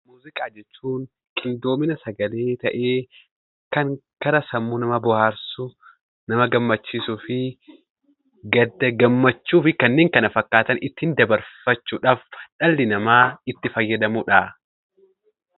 Muuziqaa jechuun qindoomina sagalee ta'ee, gara sammuu namaa bohaarsuu nama gammachiisuufii gadda gammachuu fi ittiin dabarfachuuf dhalli namaa itti fayyadamudha.